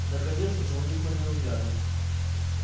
наконец звонит мой ненаглядный